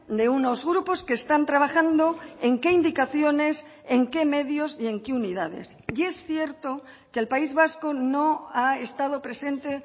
de unos grupos que están trabajando en qué indicaciones en qué medios y en qué unidades y es cierto que el país vasco no ha estado presente